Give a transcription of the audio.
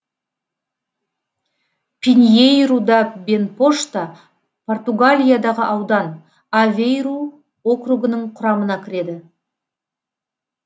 пиньейру да бенпошта португалиядағы аудан авейру округінің құрамына кіреді